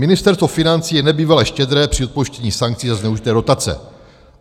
Ministerstvo financí je nebývale štědré při odpouštění sankcí za zneužité dotace.